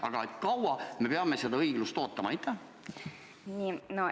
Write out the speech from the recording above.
Aga kui kaua me peame seda õiglust ootama?